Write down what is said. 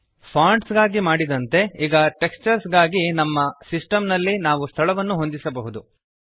fonts ಗಾಗಿ ಮಾಡಿದಂತೆ ಈಗ ಟೆಕ್ಸ್ಚರ್ಸ್ ಗಾಗಿ ನಮ್ಮ ಸಿಸ್ಟೆಮ್ ನಲ್ಲಿ ನಾವು ಸ್ಥಳವನ್ನು ಹೊಂದಿಸಬಹುದು